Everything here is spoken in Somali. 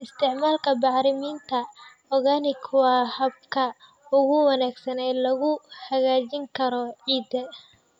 Isticmaalka bacriminta organic waa habka ugu wanaagsan ee lagu hagaajin karo ciidda.